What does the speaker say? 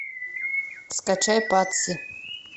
скачай патси